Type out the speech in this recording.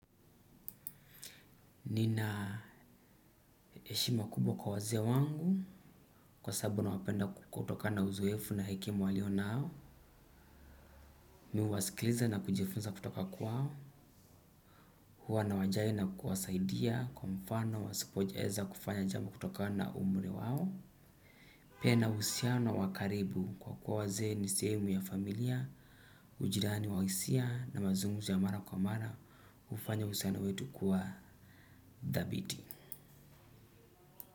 Nina eshima kubwa kwa wazee wangu kwa sababu nawapenda kukutokana na uzoefu na hekema walio nao. Mi uwasikiliza na kujifunza kutoka kwao. Huwa na wajali na kuwasaidia kwa mfano wa sipojeza kufanya jamalbo kutoka na umri wa au. Pia usiano wakaribu kwa kuwa waze ni seemu ya familia, ujirani wa isia na mazungumzo ya mara kwa mara ufanya usiano wetu kuwa dhabiti.